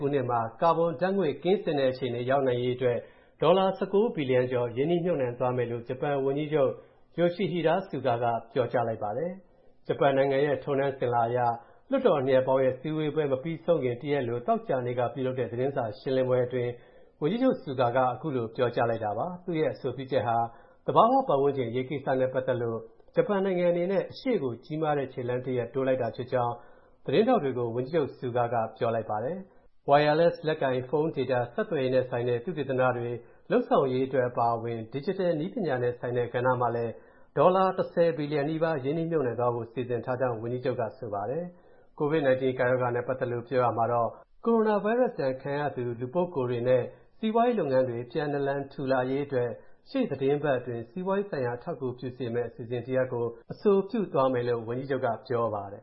ခုနှစ်မှာ ကာဘွန်ဓါတ်ငွေ့ ကင်းစင်တဲ့အခြေအနေရောက်နိုင်ရေးအတွက် ဒေါ်လာ ၁၉ ဘီလီယံကျော် ရင်းနှီးမြုပ်နှံသွားမယ်လို့ ဂျပန်ဝန်ကြီးချုပ် Yoshihide Suga က ပြောကြားလိုက်ပါတယ်။ ဂျပန်နိုင်ငံရဲ့ ထုံးတန်းအစဉ်အလာအရ လွှတ်တော်နှစ်ရပ်ပေါင်းရဲ့ စည်းဝေးပွဲမပြီးဆုံးခင် တရက်အလို သောကြာနေ့က ပြုလုပ်တဲ့ သတင်းစာရှင်းလင်းပွဲအတွင်း ဝန်ကြီးချုပ် Suga က အဲဒီလို ပြောကြားလိုက်တာပါ။ သူ့ရဲ့ အဆိုပြုချက်ဟာ သဘာဝပတ်ဝန်းကျင် အရေးကိစ္စနဲ့ပတ်သက်လို့ ဂျပန်နိုင်ငံအနေနဲ့ အရှေ့ကို ကြီးမားတဲ့ခြေလှမ်းတရပ် တိုးလိုက်တာဖြစ်ကြောင်း သတင်းထောက်တွေကို ဝန်ကြီးချုပ် Suga က ပြောပါတယ်။ Wireless လက်ကိုင်ဖုန်း Data ဆက်သွယ်ရေးနဲ့ဆိုင်တဲ့ သုတေသနတွေ လုပ်ဆောင်ရေးအတွက် အပါအဝင် Digital နည်းပညာနဲ့ဆိုင်တဲ့ကဏ္ဍမှာလည်း ဒေါ်လာ ၁၀ ဘီလီယံနီးပါး ရင်းနှီးမြုပ်နှံသွားဖို့ စီစဉ်ထားကြောင်းလည်း ဝန်ကြီးချုပ်က ပြောပါတယ်။ ကိုဗစ်-၁၉ ကပ်ရောဂါနဲ့ပတ်သက်လို့ ပြောကြားရာမှာတော့ - ကိုရိုနာဗိုင်းရပ်ဒဏ်ခံခဲ့ရသူ လူပုဂ္ဂိုလ်တွေနဲ့ စီးပွားရေးလုပ်ငန်းတွေ ပြန်နာလန် ထူလာရေးအတွက် ရှေ့သီတင်းပတ်အတွင်း စီးပွားရေးဆိုင်ရာ အထောက်အကူပြုစေမယ့် အစီအစဉ်တရပ်ကို အဆိုပြုသွားမယ်လို့ ဝန်ကြီးချုပ်က ပြောပါတယ်။